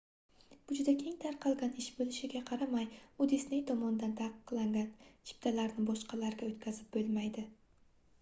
bu juda keng tarqalgan ish boʻlishiga qaramay u disney tomonidan taqiqlangan chiptalarni boshqalarga oʻtkazib boʻlmaydi